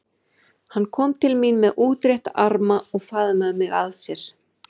Hann kom til mín með útrétta arma og faðmaði mig að sér.